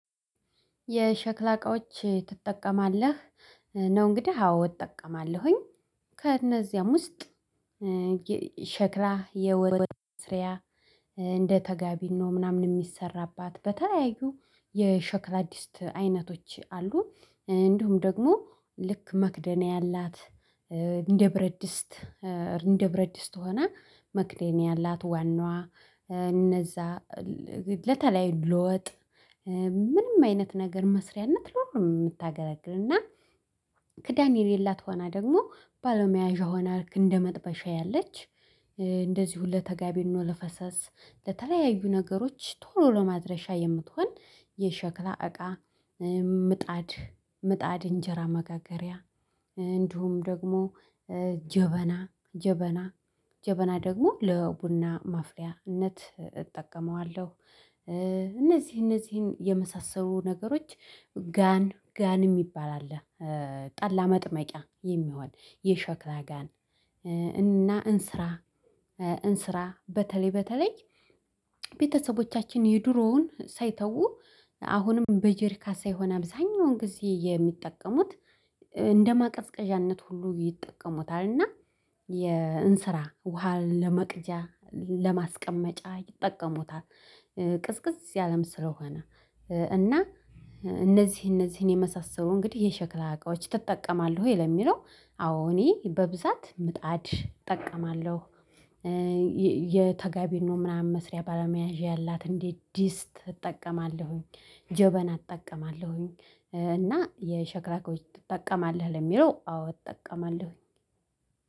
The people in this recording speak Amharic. የሸክላ እቃዎች ትጠቀማለህ? ነው እንግዲህ አዎ እጠቀማለሁኝ። ከእነዚያም ውስጥ ሸክላ የወጥ መስሪያ እንደ ተጋቢኖ ምናምን የሚሰራባት በተለያዩ የሸክላ ድስት አይነቶች አሉ። እንዲሁም ደግሞ ልክ መክደኛ ያላት እንደ ብረድስት እንደ ብረድስት ሆና መክደኛ ያላት ዋናዋ እነዛ ለተለያዩ ለወጥ ምንም አይነት ነገር መስሪያነት ለሁሉም እምታገለግልና። ከዳን የሌላት ሆና ደግሞ ባለመያዣ ሆና ልክ እንደ መጥበሻ ያለች እንደዚሁ ለተጋቢ ነው። ለፈሰስ ለተለያዩ ነገሮች ቶሎ ለማድረሻ የምትሆን የሸክላ እቃ። ምጣድ ምጣድ እንጀራ መጋገሪያ እንዲሁም ደግሞ ጀበና ጀበና ጀበና ደግሞ ለቡና ማፍሊያነት እጠቀመዋለሁ። እነዚህ እነዚህን የመሳሰሉ ነገሮች ጋን ጋን እሚባል አለ። ጠላ መጥመቂያ የሚሆን የሸክላ ጋን። እና እንስራ። እንስራ በተለይ በተለይ ቤተሰቦቻችን የድሮውን ሳይተው አሁንም በጀሪካ ሳይሆን አብዛኛውን ጊዜ የሚጠቀሙት ለማቀዝቀዣነት ሁሉ ይጠቀሙታል። እና የእንስራ ውሃን ለመቅጃ ለማስቀመጫ ይጠቀሙታል። ቅዝቅዝ ያለም ስለሆነ። እና እነዚህ እነዚህን የመሳሰሉ እንግዲህ የሸክላ እቃዎች ትጠቀማለህ? ወይ ለሚለው አዎ እኔ በብዛት ምጣድ እጠቀማለሁ። የተጋቢኖ ነው ምናምን መስሪያ ባለመያዣ ያላት እንደ ድስት እጠቀማለሁኝ ጀበና እጠቀማለሁኝ። እና የሸክራ እቃዎች ትጠቀማለሁ ለሚለው አዎ እጠቀማለሁኝ።